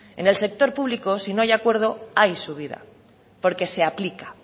en el sector público si no hay acuerdo hay subida porque se aplica